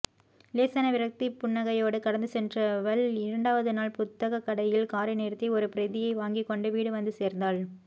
லேசான விரக்திப்புன்னகையோடு கடந்து சென்றவள் இரண்டாவது நாள் புத்தகக்கடையில் காரை நிறுத்தி ஒரு பிரதியை வாங்கிக்கொண்டு வீடு வந்து சேர்ந்தாள்